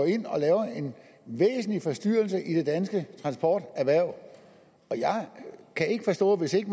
ind og laver en væsentlig forstyrrelse i det danske transporterhverv og jeg kan ikke forstå hvis ikke